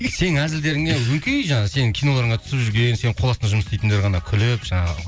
сенің әзілдеріңе өңкей жаңағы сенің киноларыңа түсіп жүрген сенің қол астында жұмыс істейтіндер ғана күліп жаңағы